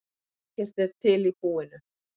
Ekkert er til í búinu.